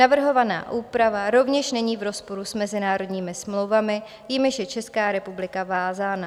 Navrhovaná úprava rovněž není v rozporu s mezinárodními smlouvami, jimiž je Česká republika vázána.